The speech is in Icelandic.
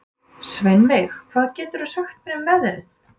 Sveinveig, hvað geturðu sagt mér um veðrið?